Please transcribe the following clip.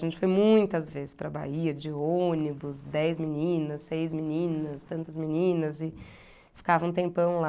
A gente foi muitas vezes para Bahia, de ônibus, dez meninas, seis meninas, tantas meninas e ficava um tempão lá.